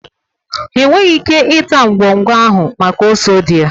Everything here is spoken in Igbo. Ha enweghị ike ịta ngwọngwọ ahụ maka ose dị ya.